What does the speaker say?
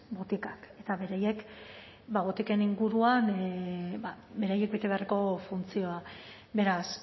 botikak eta beraiek da botiken inguruan ba beraiek bete beharko funtzioa beraz